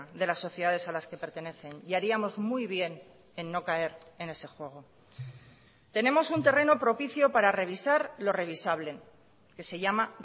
de las sociedades a las que pertenecen y haríamos muy bien en no caer en ese juego tenemos un terreno propicio para revisar lo revisable que se llama